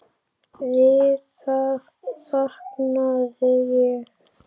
Við það vaknaði ég.